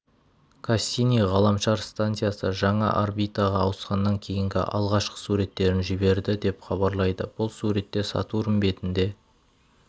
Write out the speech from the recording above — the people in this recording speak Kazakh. кассини ғаламшар станциясы жаңа орбитаға ауысқаннан кейінгі алғашқы суреттерін жіберді деп хабарлайды бұл суретте сатурн бетінде